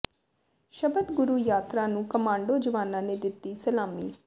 ਸ਼ਬਦ ਗੁਰੂ ਯਾਤਰਾ ਨੂੰ ਕਮਾਂਡੋ ਜਵਾਨਾਂ ਨੇ ਦਿੱਤੀ ਸਲਾਮੀ